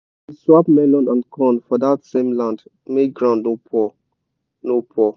we dey swap melon and corn for dat same land make ground no poor. no poor.